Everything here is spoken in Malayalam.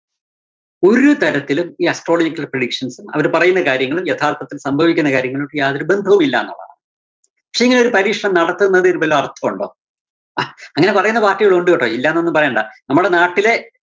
ഒരു തരത്തിലും ഈ astrological predictions ഉം അവര് പറയുന്ന കാര്യങ്ങളും യഥാര്‍ത്ഥത്തില്‍ സംഭവിക്കുന്ന കാര്യങ്ങളുമായിട്ട് യാതൊരു ബന്ധവുമില്ലന്നുള്ളതാണ്. പക്ഷേ ഈ ഒരു പരീക്ഷണം നടത്തുന്നതില് വല്ല അര്‍ത്ഥവോണ്ടോ? ഹാ അങ്ങനെ പറയുന്ന party കളും ഉണ്ടുട്ടോ, ഇല്ലാന്നൊന്നും പറയണ്ടാ. നമ്മടെ നാട്ടിലെ